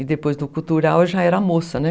E depois do cultural eu já era moça, né?